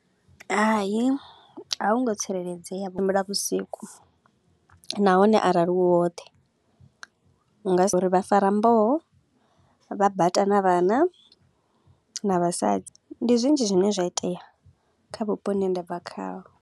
Hai, a hu ngo tsireledzea vhusiku nahone arali u woṱhe. U nga vha fara mboho, vha bata na vhana na vhasadzi, ndi zwinzhi zwine zwa itea kha vhupo vhune nda bva khaho.